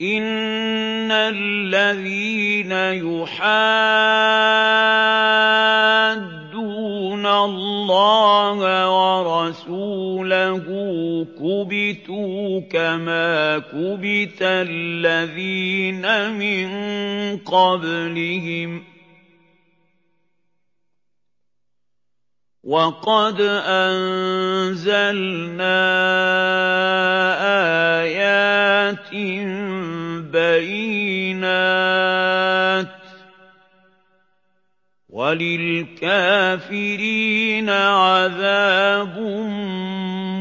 إِنَّ الَّذِينَ يُحَادُّونَ اللَّهَ وَرَسُولَهُ كُبِتُوا كَمَا كُبِتَ الَّذِينَ مِن قَبْلِهِمْ ۚ وَقَدْ أَنزَلْنَا آيَاتٍ بَيِّنَاتٍ ۚ وَلِلْكَافِرِينَ عَذَابٌ